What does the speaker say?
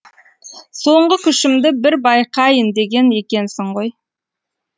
соңғы күшімді бір байқайын деген екенсің ғой